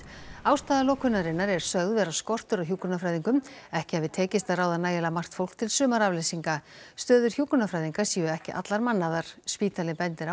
ástæða lokunarinnar er sögð skortur á hjúkrunarfræðingum ekki hafi tekist að ráða nægilega margt fólk til sumarafleysinga stöður hjúkrunarfræðinga séu ekki allar mannaðar spítalinn bendir